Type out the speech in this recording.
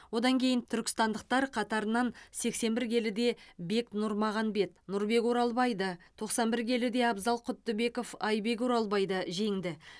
одан кейін түркістандықтар қатарынан сексен бір келіде бек нұрмағанбет нұрбек оралбайды тоқсан бір келіде абзал құттыбеков айбек оралбайды жеңді